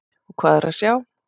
Og hvað er að sjá?